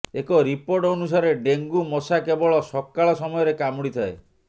ଏକ ରିପୋର୍ଟ ଅନୁସାରେ ଡେଙ୍ଗୁ ମଶା କେବଳ ସକାଳ ସମୟରେ କାମୁଡ଼ିଥାଏ